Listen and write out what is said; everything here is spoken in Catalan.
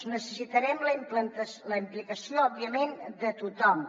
necessitarem la implicació òbviament de tothom